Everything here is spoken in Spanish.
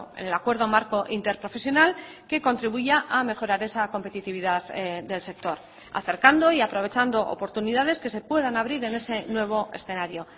en el acuerdo marco interprofesional que contribuya a mejorar esa competitividad del sector acercando y aprovechando oportunidades que se puedan abrir en ese nuevo escenario